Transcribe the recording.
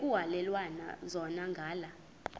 ekuhhalelwana zona ngala